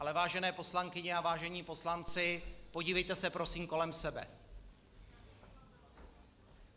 Ale vážené poslankyně a vážení poslanci, podívejte se prosím kolem sebe.